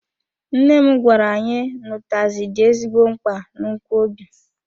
Nne m gwara anyị n'utazi dị ezigbo mkpa na nkwobi.